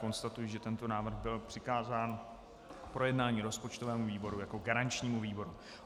Konstatuji, že tento návrh byl přikázán k projednání rozpočtovému výboru jako garančnímu výboru.